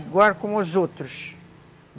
Igual com os outros.